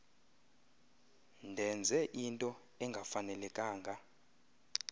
ndenze into engafanelekanga